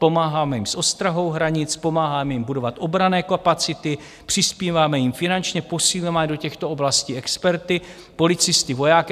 Pomáháme jim s ostrahou hranic, pomáháme jim budovat obranné kapacity, přispíváme jim finančně, posíláme do těchto oblastí experty, policisty, vojáky.